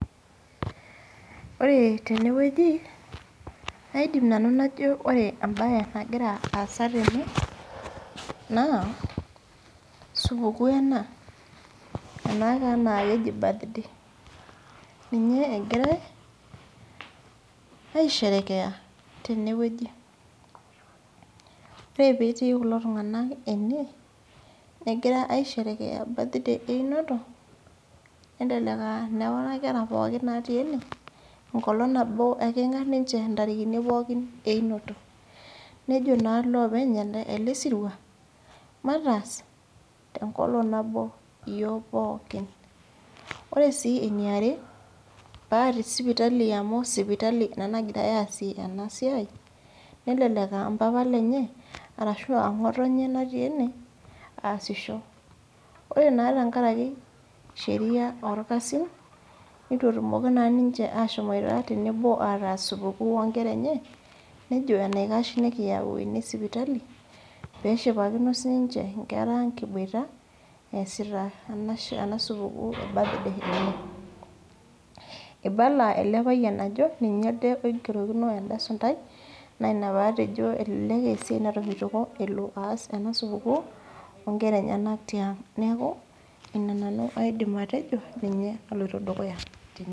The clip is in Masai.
Ore tenewueji, kaidim nanu najo ore ebae nagira aasa tene, naa, supukuu ena, ena taa nakeji birthday. Ninye egirai, aisherekea, tenewueji. Ore petii kulo tung'anak ene, egira aisherekea birthday einoto, nelelek ah nekuna kera pookin natii ene, enkolong nabo ake etijing'a ninche intarikini pookin einoto. Nejo naa loopeny ele sirua, mataas tenkolong nabo iyiok pookin. Ore si eniare, pa tesipitali amu sipitali ena nagirai aasie enasiai, nelelek ah mpapa lenye arashua ng'otonye natii ene, aasisho. Ore naa tenkaraki sheria orkasin, nitu etumoki naa ninche ashomoita tenebo ataas supukuu onkera enye, nejo enaikash nikiyau ene sipitali, peshipakino sininche inkera ang' kiboita, eesita ena supukuu e birthday enye. Ibala ele payian ajo, ninye ade oigerokino enda suntai, naa ina patejo elelek esiai natomitioko elo aas ena supukuu, onkera enyanak tiang'. Neeku ina nanu aidim atejo, ninye naloito dukuya tene.